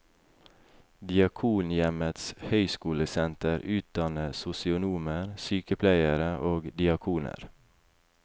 Diakonhjemmets høgskolesenter utdanner sosionomer, sykepleiere og diakoner.